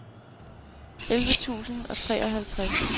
elleve tusind og treoghalvtreds